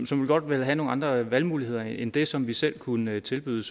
som godt ville have nogle andre valgmuligheder end det som vi selv kunne tilbyde